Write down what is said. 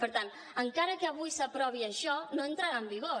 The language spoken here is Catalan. per tant encara que avui s’aprovi això no entrarà en vigor